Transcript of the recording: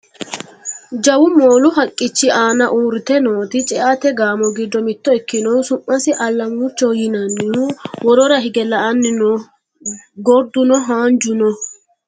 jawu moolu haqqichi aana uurrite nooti ce"ate gaamo giddo mitto ikinohu su'masi allamurchoho yinannihu worora hige la"anni no gorduno haanju no